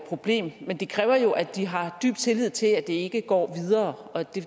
problem men det kræver jo at de har dyb tillid til at det ikke går videre og det